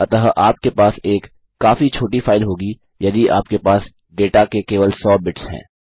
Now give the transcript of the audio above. अतः आपके पास एक काफी छोटी फाइल होगी यदि आपके पास डेटा के केवल सौ बिट्स हैं